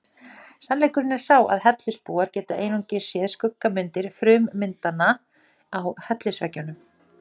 Sannleikurinn er sá að hellisbúar geta einungis séð skuggamyndir frummyndanna á hellisveggjunum.